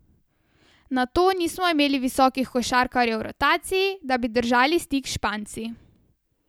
Nato nismo imeli visokih košarkarjev v rotaciji, da bi držali stik s Španci.